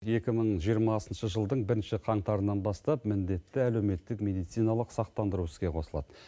екі мың жиырмасыншы жылдың бірінші қантарынан бастап міндетті әлеуметтік мединациналық сақтандыру іске қосылады